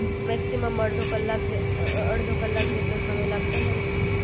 maximum અડધો કલાક અડધો કલાક જેટલો સમય લાગતો હોય છે